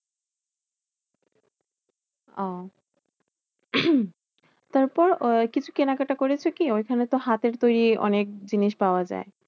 ওহ তারপর আহ কিছু কেনা কাটা করেছো কি? ঐখানে তো হাতের তৈরী অনেক জিনিস পাওয়া যায়।